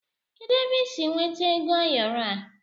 Kedụ ebe ị sị nweta ego ayoro a?